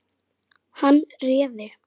Hann réði.